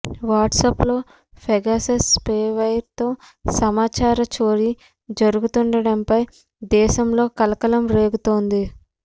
WhatsApp లో Pegasus spyware తో సమాచార చోరీ జరుగుతుండటంపై దేశంలో కలకలం రేగుతోంది